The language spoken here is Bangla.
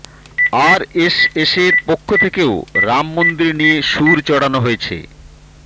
আরএসএসের পক্ষ থেকেও রাম মন্দির নিয়ে সুর চড়ানো হয়েছে